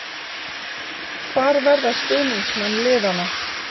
Hvar verða stuðningsmenn liðanna.